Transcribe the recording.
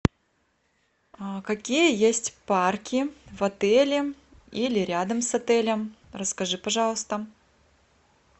какие есть парки в отеле или рядом с отелем расскажи пожалуйста